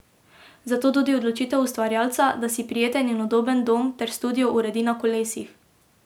Zato tudi odločitev ustvarjalca, da si prijeten in udoben dom ter studio uredi na kolesih.